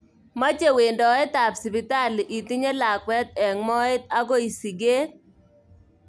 Meche wendoet ab sipitali itinye lakwet eng moet akoi siket.